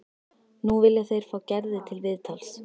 Nú vilja þeir fá Gerði til viðtals.